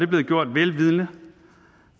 blevet gjort vel vidende